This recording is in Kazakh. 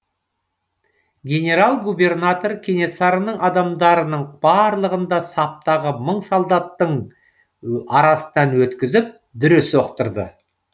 генерал губернатор кенесарының адамдарының барлығын да саптағы мың солдаттың арасынан өткізіп дүре соқтырды